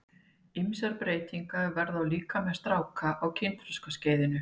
Ýmsar breytingar verða á líkama stráka á kynþroskaskeiðinu.